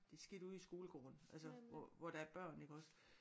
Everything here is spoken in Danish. Det er sket ude i skolegården altså hvor hvor der er børn iggås